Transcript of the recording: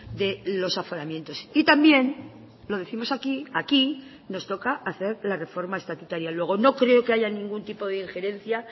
de los aforamientos y también lo décimos aquí aquí nos toca hacer la reforma estatutaria luego no creo que haya ningún tipo de injerencia